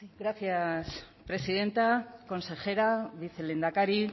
gracias presidenta consejera vicelehendakari